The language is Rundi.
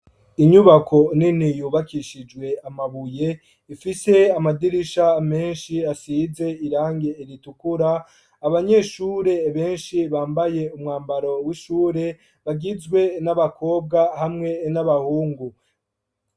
Inyubako nini yubakishijwe amabuye ifise amadirisha menshi asize irangi ritukura, abanyeshure benshi bambaye umwambaro w'ishure bagizwe n'abakobwa hamwe n'abahungu.